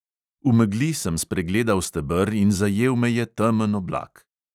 V megli sem spregledal steber in zajel me je temen oblak.